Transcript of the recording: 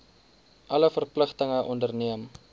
alle verpligtinge onderneem